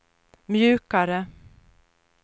mjukare